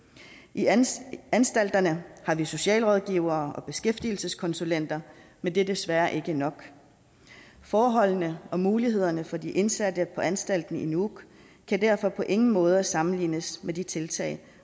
i anstalterne anstalterne har vi socialrådgivere og beskæftigelseskonsulenter men det er desværre ikke nok forholdene og mulighederne for de indsatte på anstalten i nuuk kan derfor på ingen måde sammenlignes med de tiltag